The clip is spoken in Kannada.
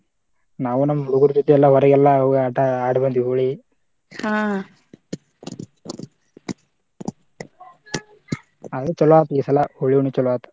ನಾವು ನಮ ಹುಡುಗುರ ಜೊತೆ ಎಲ್ಲಾ ಹೊರಗೆಲ್ಲಾ ಹೋಗಿ ಆಟಾ ಆಡಿ ಬಂದ್ವಿ ಹೋಳಿ ಅದ ಮಾಡ್ತಾರ ಇದೆಲ್ಲಾ ಆದ್ರೂ ಚೊಲೋ ಆತ ಈಸಲಾ ಹೋಳಿ ಹುಣ್ಣಿವಿ ಚೊಲೋ ಆತ.